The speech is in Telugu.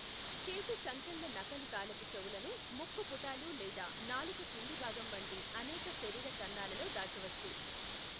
చేతి సంకెళ్ళ నకలు తాళపు చెవులను ముక్కు పుటాలు లేదా నాలుక కింది భాగం వంటి అనేక శరీర కన్నాలలో దాచవచ్చు.